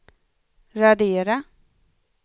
radera